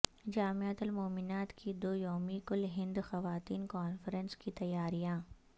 جامعتہ المومنات کی دو یومی کل ہند خواتین کانفرنس کی تیاریاں